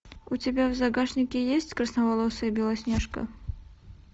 у тебя в загашнике есть красноволосая белоснежка